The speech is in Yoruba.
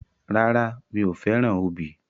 Rárá, mi ò fẹ́ràn obì.